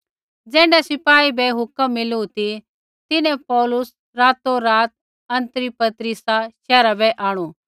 ज़ैण्ढा सिपाही बै हुक्म मिलू ती तिन्हैं पौलुस रातोरात अन्तिपत्रिसा शैहरा बै आंणु